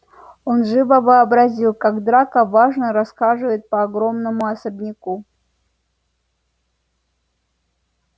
он живо вообразил как драко важно расхаживает по огромному особняку